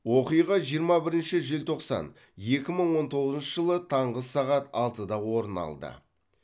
оқиға жиырма бірінші желтоқсан екі мың он тоғызыншы жылы таңғы сағат алтыда орын алды